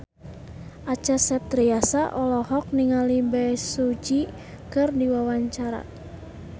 Acha Septriasa olohok ningali Bae Su Ji keur diwawancara